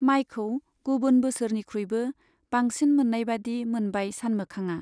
माइखौ गुबुन बोसोरनिख्रुइबो बांसिन मोन्नायबादि मोनबाय सानमोखांआ।